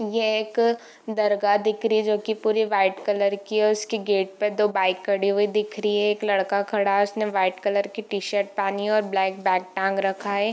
ये एक दरगाह दिख रही है जो की पुरी वाइट कलर की है और इसकी गेट पे दो बाइक खडी हुई दिख रही हैं एक लड़का खड़ा है उसने वाइट कलर की टी-शर्ट पेहनी है और ब्लैक बैग टांग रखा है।